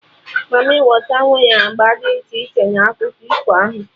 Mamịwater nwere agba dị iche iche na akụkọ ifo ahụ